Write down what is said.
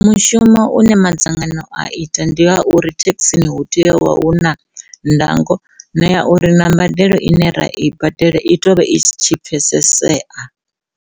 Mushumo une madzangano a ita ndi ha uri thekhisini hu tea u vha huna ndango na ya uri na mbadelo ine ra i badela i tea uvha i tshi pfhesesea.